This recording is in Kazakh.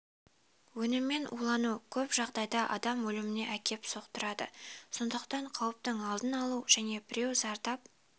өнімімен улану көп жағдайда адам өліміне әкеп соқтырады сондықтан қауіптің алдын алу және біреу зардап